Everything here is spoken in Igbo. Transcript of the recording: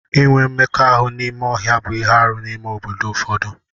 Inwe mmekọahụ n'ime ọhịa bụ ihe arụ n'ime obodo ụfọdụ.